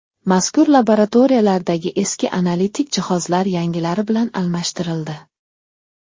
Mazkur laboratoriyalardagi eski analitik jihozlar yangilari bilan almashtirildi.